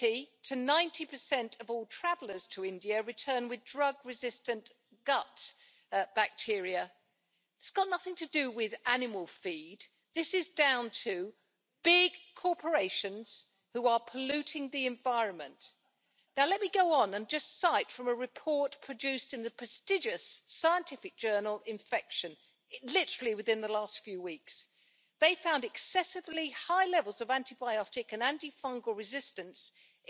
Señora presidenta, quiero felicitar, en primer lugar, a mi colega Karin Kadenbach, porque creo que nos trae aquí hoy un buen informe, muy útil para las necesidades que tienen la sociedad europea y la sociedad en general de abordar esta reducción de antibióticos y esta resistencia antimicrobiana. También quiero felicitar al comisario Andriukaitis porque creo que está impulsando importante legislación. Me gustaría mencionar —porque he oído a algunos colegas y yo creo que es por desconocimiento, más